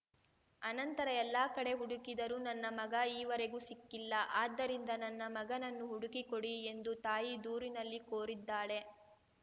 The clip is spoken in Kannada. ಅನಂತರ ಎಲ್ಲ ಕಡೆ ಹುಡುಕಿದರೂ ನನ್ನ ಮಗ ಈವರೆಗೂ ಸಿಕ್ಕಿಲ್ಲ ಆದ್ದರಿಂದ ನನ್ನ ಮಗನನ್ನು ಹುಡುಕಿ ಕೊಡಿ ಎಂದು ತಾಯಿ ದೂರಿನಲ್ಲಿ ಕೋರಿದ್ದಾಳೆ